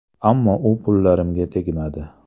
Ammo u pullarimga tegmadi.